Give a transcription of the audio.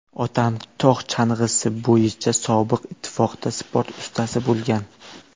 Otam tog‘ chang‘isi bo‘yicha Sobiq Ittifoqda sport ustasi bo‘lgan.